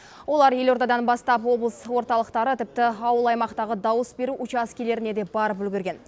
олар елордадан бастап облыс орталықтары тіпті ауыл аймақтағы дауыс беру учаскелеріне де барып үлгерген